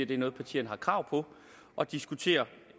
det er noget partierne har krav på at diskutere